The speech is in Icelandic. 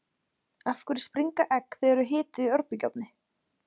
Af hverju springa egg þegar þau eru hituð í örbylgjuofni?